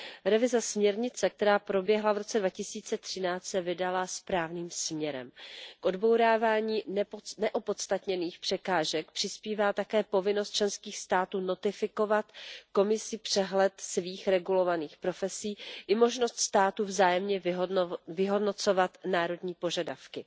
Revize směrnice, která proběhla v roce 2013, se vydala správným směrem. K odbourávání neopodstatněných překážek přispívá také povinnost členských států notifikovat Komisi přehled svých regulovaných profesí i možnost států vzájemně vyhodnocovat národní požadavky.